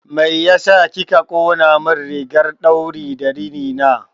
Mai ya sa kika ƙonamin rigar ɗauri da rini na?